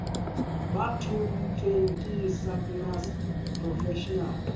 ba thontsweng ke sacnasp professional